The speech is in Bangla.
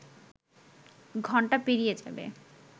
ঘন্টা পেরিয়ে যাবে